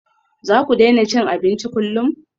Za ku daina cin abinci kullum?